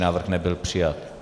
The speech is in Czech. Návrh nebyl přijat.